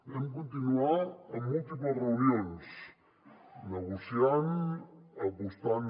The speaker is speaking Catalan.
vam continuar amb múltiples reunions negociant apostant